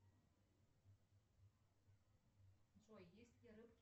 джой есть